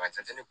Ka jate